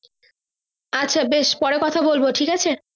আচ্ছা বেশ পরে কথা বলবো ঠিক আছে।